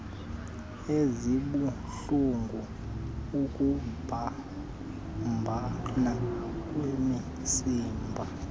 ezibuhlulngu ukubambana kwemisipha